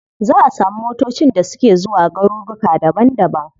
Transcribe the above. Za a samu motacin da suke zuwa garuruka daban daban.